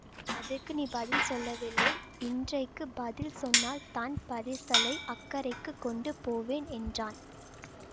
அதற்கு நீ பதில் சொல்லவில்லை இன்றைக்கு பதில் சொன்னால் தான் பரிசலை அக்கரைக்குக் கொண்டு போவேன் என்றான்